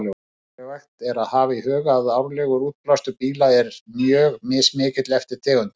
Mikilvægt er að hafa í huga að árlegur útblástur bíla er mjög mismikill eftir tegundum.